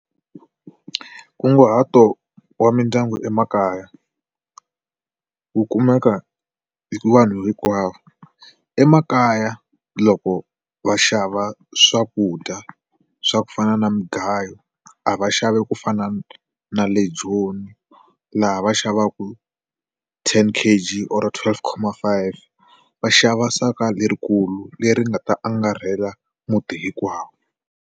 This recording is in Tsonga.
Nkunguhato wa mindyangu emakaya ku kumeka hi vanhu hinkwavo emakaya loko va xava swakudya swa ku fana na mugayo a va xavi ku fana na le joni laha va xavaka ten k_g or twelve comma five k_g va xava saka lerikulu leri nga ta angarhela muti hinkwawo.